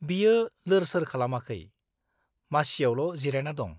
बियो लोरसोर खालामाखै, मासियावल' जिरायना दं।